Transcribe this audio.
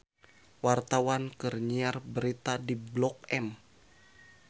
Wartawan keur nyiar berita di Blok M